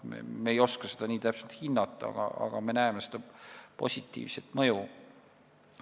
Me ei oska seda nii täpselt hinnata, aga me näeme positiivset mõju.